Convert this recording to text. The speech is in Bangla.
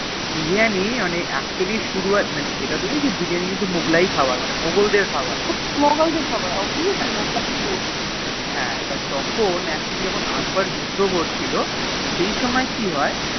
Biriyani actually শুরু হয়ে মানে ইটা তো Biriyani কিন্তু মুঘলাই খাবার মুঘল দেড় খাবার হ্যান তো তখন যখুন আকবর যুদ্ধ করছিলো সেই সোমেয়ে কি হয়ে